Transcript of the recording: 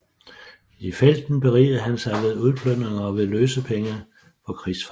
I felten berigede han sig ved udplyndring og ved løsepenge for krigsfanger